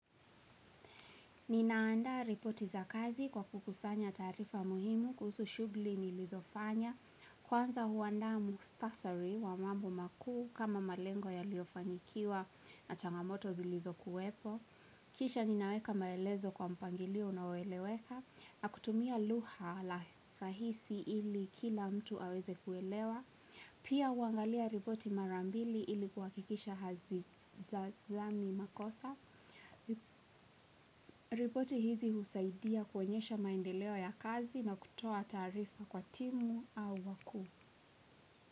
Ninaanda ripoti za kazi kwa kukusanya taarifa muhimu kuhusu shugli nilizofanya, kwanza huandaa muktasari wa mambo makuu kama malengo yaliyofanikiwa na changamoto zilizokuwepo, kisha ninaweka maelezo kwa mpangilio unaoeleweka, na kutumia lugha la rahisi ili kila mtu aweze kuelewa, pia huangalia ripoti marambili ili kuhakikisha hazizami makosa. Ripoti hizi husaidia kuonyesha maendeleo ya kazi na kutoa taarifa kwa timu au wakuu.